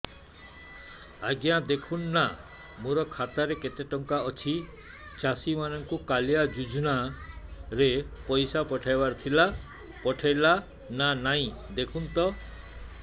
ଆଜ୍ଞା ଦେଖୁନ ନା ମୋର ଖାତାରେ କେତେ ଟଙ୍କା ଅଛି ଚାଷୀ ମାନଙ୍କୁ କାଳିଆ ଯୁଜୁନା ରେ ପଇସା ପଠେଇବାର ଥିଲା ପଠେଇଲା ନା ନାଇଁ ଦେଖୁନ ତ